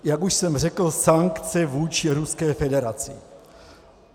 Jak už jsem řekl, sankce vůči Ruské federaci.